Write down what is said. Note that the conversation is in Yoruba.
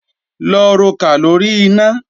Lọ rokà lóri iná!